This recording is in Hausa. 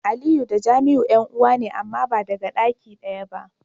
Aliyu da Jamiu yan'uwa ne amma ba daga daki daya ba.